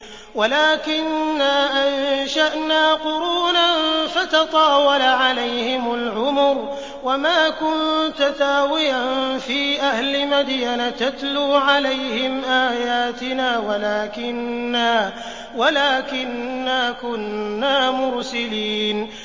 وَلَٰكِنَّا أَنشَأْنَا قُرُونًا فَتَطَاوَلَ عَلَيْهِمُ الْعُمُرُ ۚ وَمَا كُنتَ ثَاوِيًا فِي أَهْلِ مَدْيَنَ تَتْلُو عَلَيْهِمْ آيَاتِنَا وَلَٰكِنَّا كُنَّا مُرْسِلِينَ